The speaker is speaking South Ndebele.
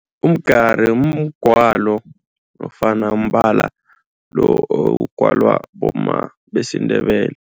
Umgari mgwalo nofana mbala lo ogwalwa bomma besiNdebele.